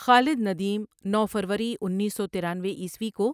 خالد ندیم نو فروری اُنیس سو ترانوے عیسوی کو